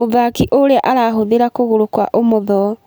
Mũthaki ũrĩa ũrahũthĩra kũgũrũ kwa ũmotho.